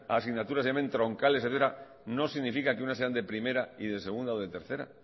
asignaturas que se llamen troncales etcétera no significa que unas sean de primera y de segunda o de tercera